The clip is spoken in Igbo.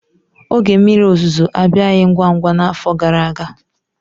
Oge mmiri ozuzo abịaghị ngwa ngwa n'afọ gara aga.